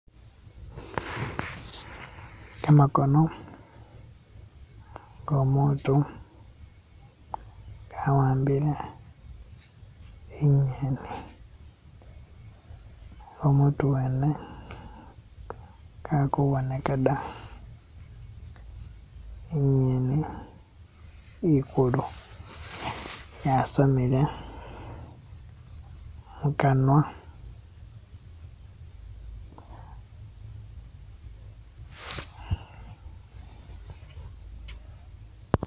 Gamakono go'omuntu gawambile ingeni, ne umutu wene kali kuboneka da, ingeni ikuulu yasamile mukanwa.